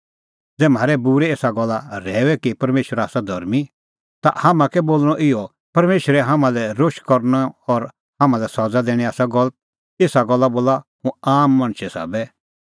ज़ै म्हारै बूरै एसा गल्ला रहैऊए कि परमेशर आसा धर्मीं ता हाम्हां कै बोल़णअ इहअ परमेशरे हाम्हां लै रोश करनअ और हाम्हां लै सज़ा दैणीं आसा गलत एसा गल्ला बोला हुंह आम मणछे साबै